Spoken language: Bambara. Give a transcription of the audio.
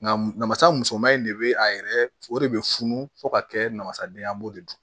Nka namasa musoman in de bɛ a yɛrɛ o de bɛ funu fo ka kɛ namasaden ye an b'o de dun